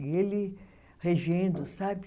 E ele regendo, sabe?